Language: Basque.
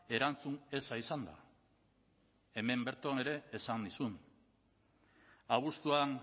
erantzun eza izan da hemen bertan ere esan nizun abuztuan